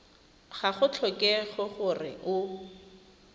ga go tlhokege gore o